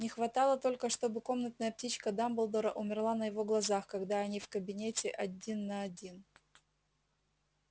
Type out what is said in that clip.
не хватало только чтобы комнатная птичка дамблдора умерла на его глазах когда они в кабинете один на один